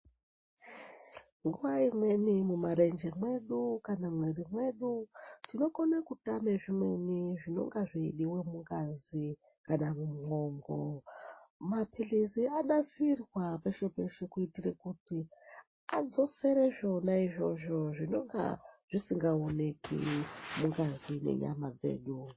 Nguwa imweni mumarenje mwedu, kana mumwiri mwedu, tinokone kutame zvimweni zvinonga zveidiwa mungazi kana mumwongo. Maphilizi anasirwa peshe -peshe kuitire kuti, adzosere zvona izvozvo zvinonga zvisingaonekwi mungazi nenyama dzedu.